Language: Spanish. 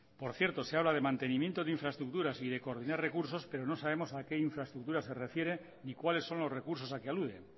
por cierto se habla de mantenimiento de infraestructuras y de coordinar recursos pero no sabemos a qué infraestructuras se refiere y cuáles son los recursos a que alude